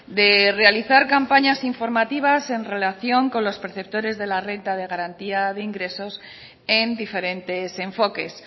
de realizar campañas informativas en relación con los perceptores de la renta de garantía de ingresos en diferentes enfoques